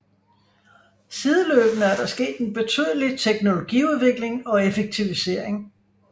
Sideløbende er der sket en betydelig teknologiudvikling og effektivisering